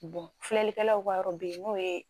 filɛlikɛlaw ka yɔrɔ bɛ ye n'o ye